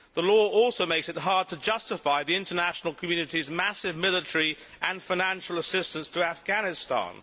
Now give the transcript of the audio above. The law also makes it hard to justify the international community's massive military and financial assistance to Afghanistan.